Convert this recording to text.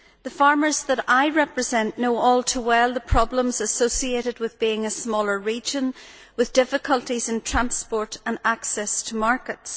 The farmers that I represent know all too well the problems associated with being a smaller region with difficulties in transport and access to markets.